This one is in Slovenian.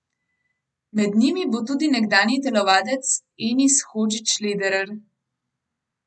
Med njimi bo tudi nekdanji telovadec Enis Hodžić Lederer.